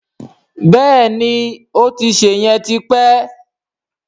Bẹ́ẹ̀ni, ó ti ṣè yẹn ti pẹ́